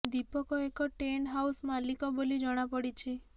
ଦୀପକ ଏକ tent house ମାଲିକ ବୋଲି ଜଣା ପଡ଼ିଛି